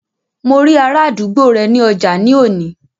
Mo rí ará àdúgbò rẹ ní ọjà ní òní